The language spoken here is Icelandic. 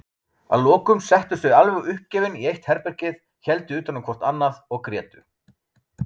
Að lokum settust þau alveg uppgefin í eitt herbergið, héldu utanum hvort annað og grétu.